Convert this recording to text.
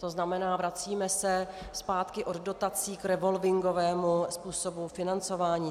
To znamená, vracíme se zpátky od dotací k revolvingovému způsobu financování.